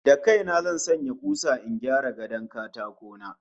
Da kai na zan sanya kusa in gyara gadon katako na